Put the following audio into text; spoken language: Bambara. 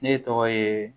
Ne tɔgɔ ye